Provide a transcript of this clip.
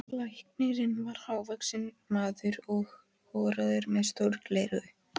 Læknirinn var hávaxinn maður og horaður með stór gleraugu.